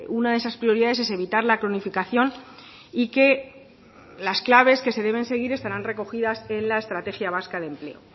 una de esas prioridades es evitar la cronificación y que las claves que se deben seguir estarán recogidas en la estrategia vasca de empleo